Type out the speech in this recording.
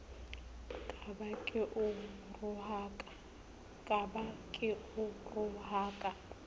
ka ba ke o rohaka